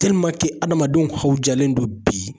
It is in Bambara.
hadamadenw hawjalen don bi.